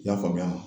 I y'a faamuya